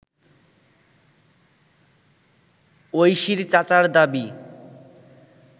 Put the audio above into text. ঐশীর চাচার দাবি